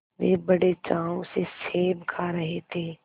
वे बड़े चाव से सेब खा रहे थे